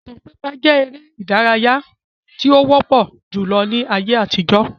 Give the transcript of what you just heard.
Ìtàn pípa jẹ èrè ìdárayá tí ó wọpọ julọ ní ayé àtijó